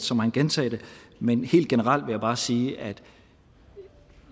så må han gentage det men helt generelt vil jeg bare sige at